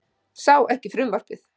Sá ekki frumvarpið